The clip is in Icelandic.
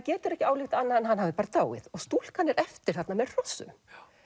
getur ekki ályktað annað en hann hafi dáið og stúlkan er eftir þarna með hrossum